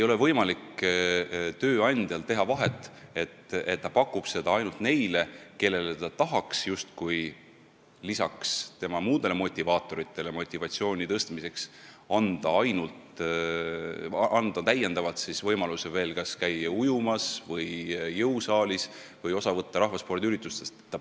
Tööandja ei tohi teha vahet, et ta pakub seda ainult neile, kellele ta tahaks lisaks muudele motivaatoritele pakkuda täiendavalt võimalusi käia kas ujumas või jõusaalis või rahvaspordiüritustest osa võtta.